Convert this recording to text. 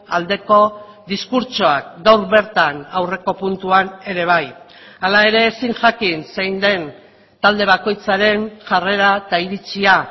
aldeko diskurtsoak gaur bertan aurreko puntuan ere bai hala ere ezin jakin zein den talde bakoitzaren jarrera eta iritzia